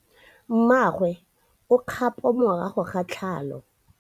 Mmagwe o kgapô morago ga tlhalô.